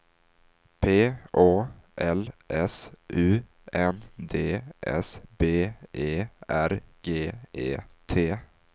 P Å L S U N D S B E R G E T